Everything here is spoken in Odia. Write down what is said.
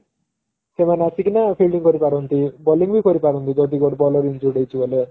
ସେମାନେ ଆସିକିନା fielding କରିପାରନ୍ତି bowling ବି କରିପାରନ୍ତି ଯଦି ଗୋଟେ ଦଳ injured ହେଇଛି ବୋଲେ